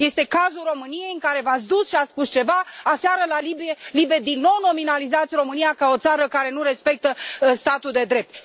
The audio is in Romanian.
Este cazul României, în care v ați dus ați spus ceva, aseară la LIBE, din nou nominalizați România ca o țară care nu respectă statul de drept.